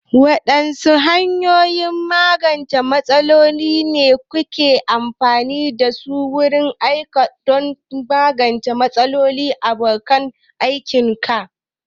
Waɗanne hanyoyin magance matsaloli ne kake amfani da su a wurin aiki don ka magance matsaloli da abokan aikinka?